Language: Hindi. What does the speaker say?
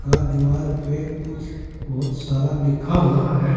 दीवार पे कुछ बहुत सारा लिखा हुआ है।